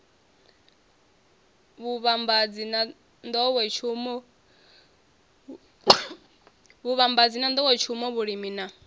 vhuvhambadzi na nḓowetshumo vhulimi na